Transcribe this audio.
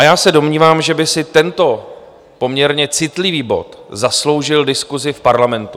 A já se domnívám, že by si tento poměrně citlivý bod zasloužil diskusi v parlamentu.